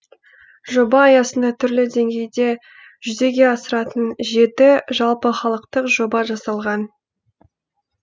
жоба аясында түрлі деңгейде жүзеге асыратын жеті жалпыхалықтық жоба жасалған